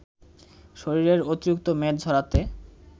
শরীরের অতিরিক্ত মেদ ঝরাতে